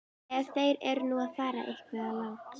Ef þeir eru nú að fara eitthvað langt.